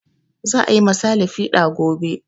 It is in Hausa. Za a yi ma sale fiɗa gobe